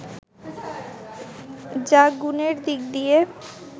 যা গুণের দিক দিয়ে